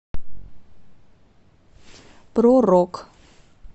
про рок